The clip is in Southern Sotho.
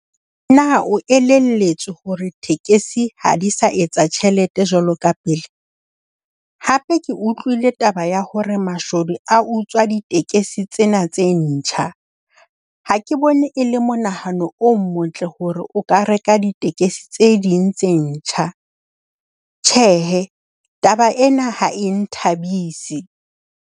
Na o elelletswe hore tekesi ha di sa etsa tjhelete jwalo ka pele? Hape ke utlwile taba ya hore mashodu a utswa ditekesi tsena tse ntjha. Ha ke bone e le monahano o motle hore o ka reka ditekesi tse ding tse ntjha. Tjhehe, taba ena ha e nthabise.